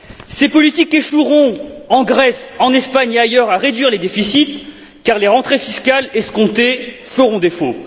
Ces politiques échoueront en Grèce, en Espagne et ailleurs à réduire les déficits, car les rentrées fiscales escomptées feront défaut.